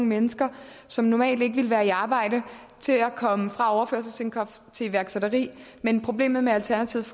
mennesker som normalt ikke ville være i arbejde til at komme fra overførselsindkomst til iværksætteri men problemet med alternativets